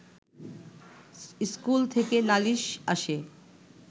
school থেকে নালিশ আসে